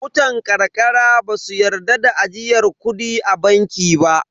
Mutan ƙarƙara ba su yarda da ajiyar kudi a banki ba.